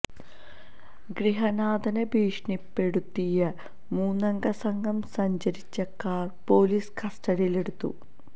ഗൃഹനാഥനെ ഭീഷണിപ്പെടുത്തിയ മൂന്നംഗ സംഘം സഞ്ചരിച്ച കാര് പൊലീസ് കസ്റ്റഡിയില് എടുത്തു